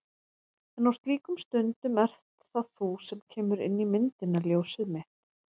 En á slíkum stundum ert það þú sem kemur inn í myndina. ljósið mitt.